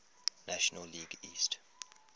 national league east